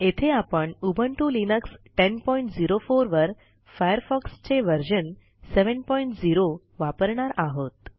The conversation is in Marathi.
येथे आपण उबुंटू लिनक्स 1004 वर फायरफॉक्स चे व्हर्शन 70 वापरणार आहोत